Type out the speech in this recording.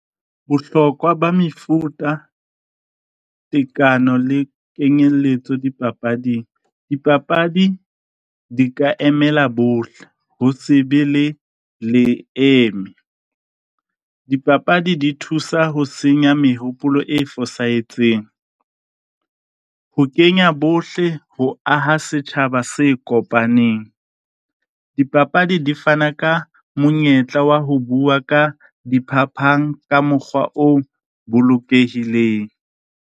Bohlokwa ba mefuta tekano le kenyelletso dipapading. Dipapadi di ka emela bohle, ho se be le le eme, dipapadi di thusa ho senya mehopolo e fosahetseng. Ho kenya bohle ho aha setjhaba se kopaneng. Dipapadi di fana ka monyetla wa ho bua ka diphapang, ka mokgwa o bolokehileng.